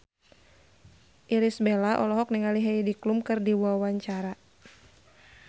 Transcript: Irish Bella olohok ningali Heidi Klum keur diwawancara